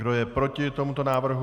Kdo je proti tomuto návrhu?